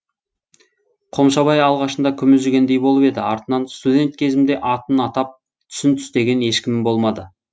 қомшабай алғашында күмілжігендей болып еді артынан студент кезімде атын атап түсін түстеген ешкімім болмады